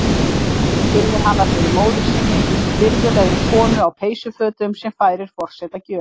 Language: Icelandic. Oddviti kynnir hana fyrir móður sinni, virðulegri konu á peysufötum, sem færir forseta gjöf.